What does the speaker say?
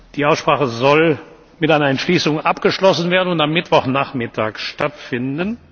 Die Aussprache soll mit einer Entschließung abgeschlossen werden und am Mittwochnachmittag stattfinden.